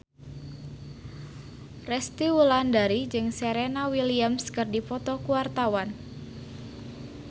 Resty Wulandari jeung Serena Williams keur dipoto ku wartawan